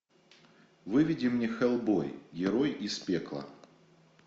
выведи мне хеллбой герой из пекла